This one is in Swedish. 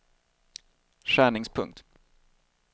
skärningspunkt